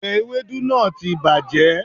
òbe ewédú náà ti bàjẹ́